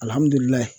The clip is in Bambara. Alihamudulila